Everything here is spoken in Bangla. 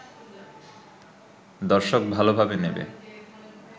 দর্শক ভালোভাবে নেবে